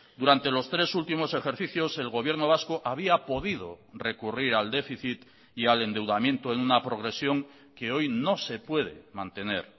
durante los tres últimos ejercicios el gobierno vasco había podido recurrir al déficit y al endeudamiento en una progresión que hoy no se puede mantener